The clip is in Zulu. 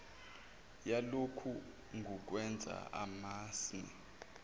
yalokhu ngukwenza amasmme